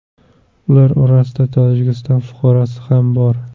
Ular orasida Tojikiston fuqarosi ham bor.